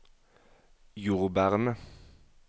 jordbærene